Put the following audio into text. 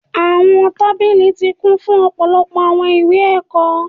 Awọn tabili ti kun fun ọpọlọpọ awọn iwe-ẹkọ